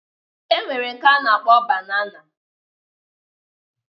E nwere nke a na-akpọ banana